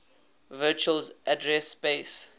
virtual address space